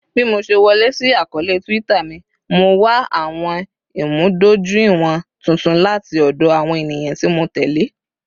Bi mo ṣe wọle si akọọlẹ Twitter mi, Mo wa awọn imudojuiwọn tuntun lati ọdọ awọn eniyan ti Mo tẹle